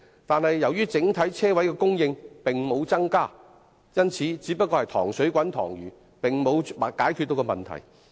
然而，由於整體車位供應並沒有增加，因此，這只不過是"塘水滾塘魚"，並沒有真正解決問題。